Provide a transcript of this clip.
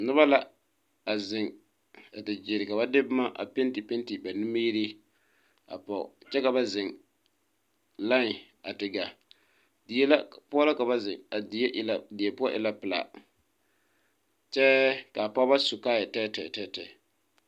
Noba la a zeŋ a da ɡyiere ka ba de boma a pentipenti ba nimiiree a pɔɡe kyɛ ka ba zeŋ lai a te ɡaa die poɔ la ka ba zeŋ a die poɔ e la pelaa kyɛ ka a pɔɡebɔ su kaayɛyaayi.